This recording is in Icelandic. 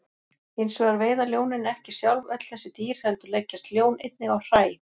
Hins vegar veiða ljónin ekki sjálf öll þessi dýr heldur leggjast ljón einnig á hræ.